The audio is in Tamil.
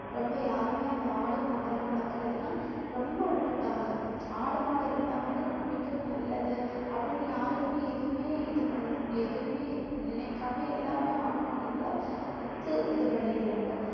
ரொம்ப யாருமே அந்த ஆடு மாடு எல்லாம் வளர்க்கிறதெல்லாம் ரொம்ப விட்டுட்டாங்க ஆடு மாடு இருந்தா வந்து நம்ம வீட்டுக்கு நல்லது அப்படின்னு யாருக்குமே எதுவுமே இது பண்~ எதுவுமே நினைக்காம எல்லாருமே ஆடு மாடுங்களை வித்து இது பண்ணிடுறாங்க